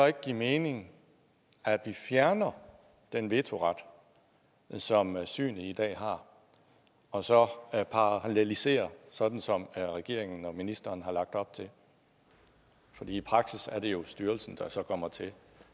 ikke give mening at vi fjerner den vetoret som synet i dag har og så paralleliserer sådan som regeringen og ministeren har lagt op til for i praksis er det jo så styrelsen der kommer til